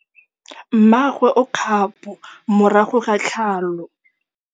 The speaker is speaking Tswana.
Mmagwe o kgapô morago ga tlhalô.